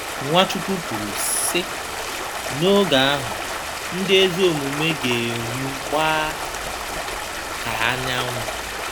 Nwachukwu kwuru, sị: “N’oge ahụ, ndị ezi omume ga-enwu gbaa ka anyanwụ.”